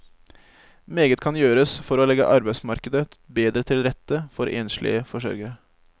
Meget kan gjøres for å legge arbeidsmarkedet bedre til rette for enslige forsørgere.